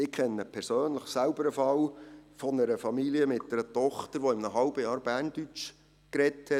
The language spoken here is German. Ich kenne persönlich selbst einen Fall einer Familie mit einer Tochter, die in einem halben Jahr Berndeutsch gesprochen hat.